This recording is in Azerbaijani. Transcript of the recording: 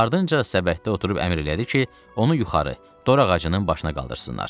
Ardınca səbətdə oturub əmr elədi ki, onu yuxarı, dorağacının başına qaldırsınlar.